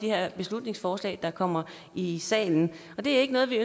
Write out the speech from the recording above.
her beslutningsforslag der kommer i i salen det er ikke noget vi